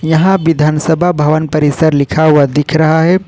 यहां विधानसभा भवन परिसर लिखा हुआ दिख रहा है।